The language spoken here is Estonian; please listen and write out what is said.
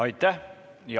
Aitäh!